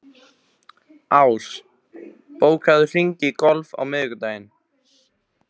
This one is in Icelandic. Ás, bókaðu hring í golf á miðvikudaginn.